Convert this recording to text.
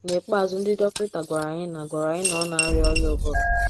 N’ikpeazụ ndị dọkịta gwara anyị na gwara anyị na ọ na arịa ọrịa ụbụrụ.